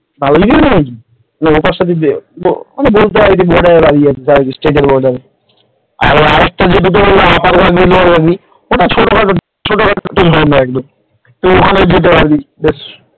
তাহলে কি জানিস বলতে পারিস যে বর্ডারে দাঁড়িয়ে আছি স্টেট বর্ডার ওটা ছোটখাটো ছোটখাটো ঝরনা একদম ওখানে যেতে পারবি বেশ